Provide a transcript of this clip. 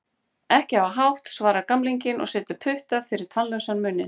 Ekki hafa hátt, svarar gamlinginn og setur putta fyrir tannlausan munninn.